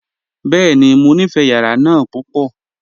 Bẹ́ẹ̀ni, mọ nífé yàrà náà púpọ.